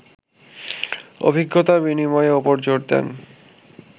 অভিজ্ঞতা বিনিময়ের ওপর জোর দেন